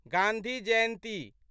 Gandhi Jayanti